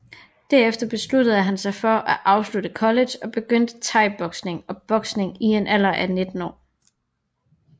Derefter besluttede han sig for at afslutte college og begyndte Thaiboksning og Boksning i en alder af 19 år